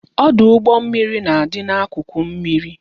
Ọdụ ụgbọ mmiri na-adị n'akụkụ mmiri